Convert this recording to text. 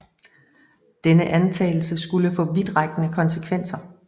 Denne antagelse skulle få vidtrækkende konsekvenser